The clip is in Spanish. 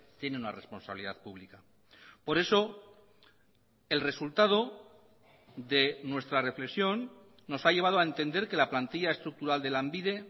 tiene una responsabilidad pública por eso el resultado de nuestra reflexión nos ha llevado a entender que la plantilla estructural de lanbide